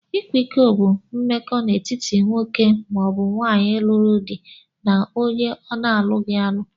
ikwa ịkọ bụ mmekọ na étíti nwoke maọbu nwaanyị lụrụ dị na ọnye ọnaghi alụ.